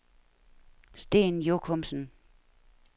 Sten Jochumsen